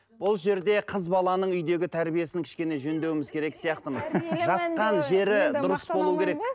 бұл жерде қыз баланың үйдегі тәрбиесін кішкене жөндеуіміз керек сияқтымыз жатқан жері дұрыс болу керек